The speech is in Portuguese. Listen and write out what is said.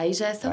Aí já é